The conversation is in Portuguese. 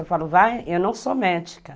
Eu falo, vai, eu não sou médica.